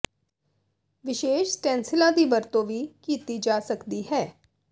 ਵਿਸ਼ੇਸ਼ ਸਟੈਂਸੀਿਲਾਂ ਦੀ ਵਰਤੋਂ ਵੀ ਕੀਤੀ ਜਾ ਸਕਦੀ ਹੈ